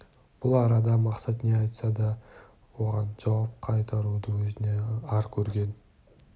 бұл арада мақсат не айтса да оған жауап қайыруды өзіне ар көрген